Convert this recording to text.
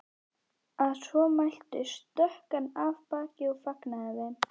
Að svo mæltu stökk hann af baki og fagnaði þeim.